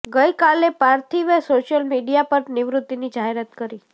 ગઈ કાલે પાર્થિવે સોશિયલ મીડિયા પર નિવૃત્તિની જાહેરાત કરી